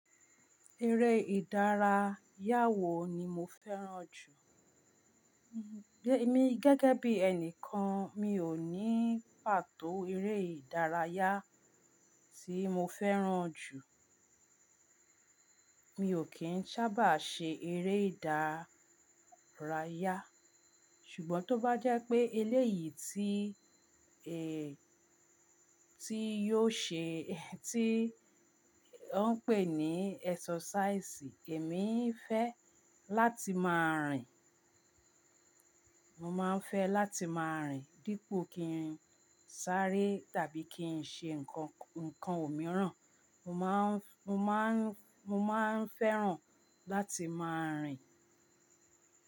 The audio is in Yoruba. Eré ìdárayá wo ni mo fẹ́ràn jù? Mi gẹ́gẹ́ bí ẹni kan mi ò ní pàtó eré ìdárayá tí mo fẹ́ràn jù. Mi ò kí n sábà ṣe eré ìdárayá. Ṣùgbọ́n tó bá jẹ́ pé eléyìí tí, ẹ, tí yóò ṣe, tí wọ́n ń pè ní exercise, èmi fẹ́ láti máa rìn. Mo máa ń fẹ́ láti máa rìn dípò kí n sáré tàbí kí n ṣe ǹkan, ǹkan òmíràn. Mo má ń, mo má ń, mo má ń fẹ́ràn láti máa rìn.